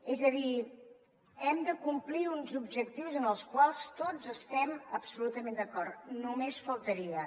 és a dir hem de complir uns objectius amb els quals tots estiguem absolutament d’acord només faltaria